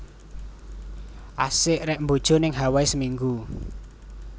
Asik rek mbojo ning Hawai seminggu